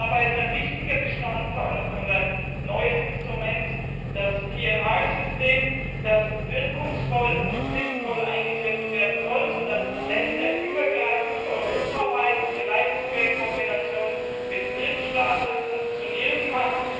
Dabei ist ein wichtiger Bestandteil und ein neues Instrument das PNR System, das wirkungsvoll und sinnvoll eingesetzt werden soll, sodass es länderübergreifend, europaweit und vielleicht sogar in Kombination mit Drittstaaten funktionieren kann.